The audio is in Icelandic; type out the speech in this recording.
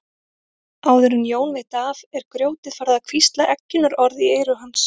Áður en Jón veit af er grjótið farið að hvísla eggjunarorð í eyru hans.